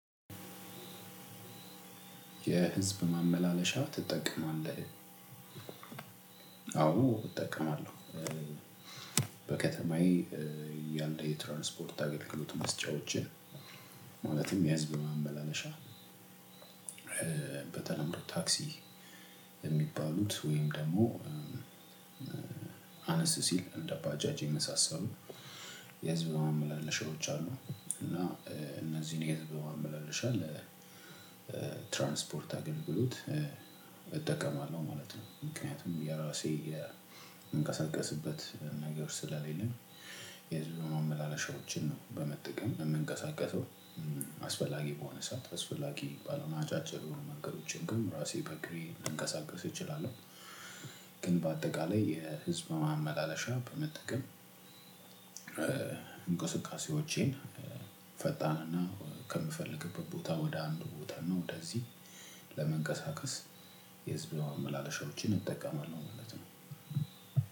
የህዝብ ማመላለሻ ትጠቀማለህ? አወ እጠቀማለሁ። በከተማየ ያለ የትራንስፖርት አገልግሎት መስጫወችን ማለትም የህዝብ ማመላለሻ በተለምዶ ታክሲ የሚባሉት ወይም ደግሞ አነስ ሲል እንደ ባጃጅ የመሳሰሉ የህዝብ ማመላለሻዎች አሉ። እና እነዚህን የህዝብ ማመላለሻ ለ ትራንስፖርት አገልግሎት እጠቀማለሁ ማለት ነው። ምክንያቱም የራሴ የምንቀሳቀስበት ነገር ስለሌለ የህዝብ ማመላለሻዎችን ነው በመጠቀም የምንቀሳቀሰው አስፈላጊ በሆነ ሰዓት አስፈላጊ ባለሆነ አጫጭር መንገዶችን ግን ራሴ በእግሬ ልንቀሳቀስ እችላለሁ። ግን በአጠቃላይ የህዝብ ማመላለሻ በመጠቀም እንቅስቃሴዎቼን ፈጣንና ከምፈልግበት ቦታ ወደ አንድ ቦታ ነው ወደዚህ ለመንቀሳቀስ የህዝብ ማመላለሻዎችን እጠቀማለሁ ማለት ነው።